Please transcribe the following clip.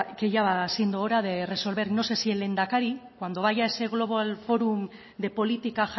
que ya va siendo hora de resolver no sé si el lehendakari cuando vaya ese global forum de política